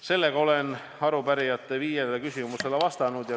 Nüüd olen arupärijate viiele küsimusele vastanud.